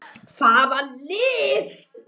Hvaða lið?